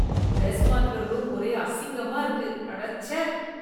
Dress மாத்திர room ஒரே அசிங்கமா இருக்கு, அடச்சே.